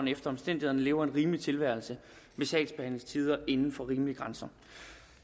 efter omstændighederne lever en rimelig tilværelse med sagsbehandlingstider inden for rimelige grænser